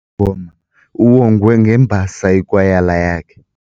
wengoma uwongwe ngembasa yikwayala yakhe.